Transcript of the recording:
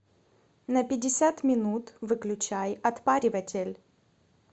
на пятьдесят минут выключай отпариватель